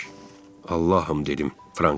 Allahım, dedim Franka.